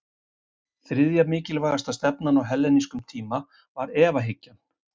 þriðja mikilvægasta stefnan á hellenískum tíma var efahyggjan